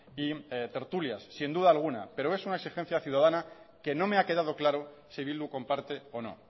y tertulias sin duda alguna pero es una exigencia ciudadana que no me ha quedado claro si bildu comparte o no